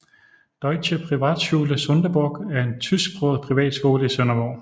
Deutsche Privatschule Sonderburg er en tysksproget privatskole i Sønderborg